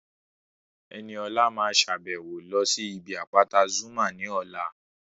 Ẹniọlá máa sàbẹ̀wo lọ sí ibi àpáta Zuma ní ọ̀la